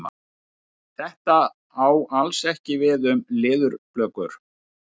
Þetta á alls ekki við um leðurblökur.